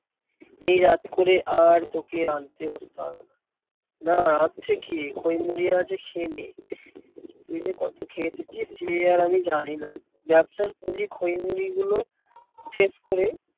এই রাত করে আর তোকে আনতে বসতে হবেনা। না আনছে কে খৈ মুড়ি আছে খেয়ে নে, তুই যে কত খেয়ে এসেছিস সে আর আমি জানি না। ব্যাবসার পুঁজি খৈ মুড়ি গুলো শেষ করে